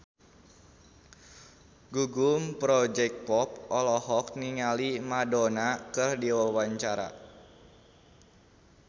Gugum Project Pop olohok ningali Madonna keur diwawancara